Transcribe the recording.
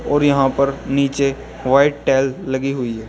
और यहां पर नीचे व्हाइट टाइल लगी हुई है।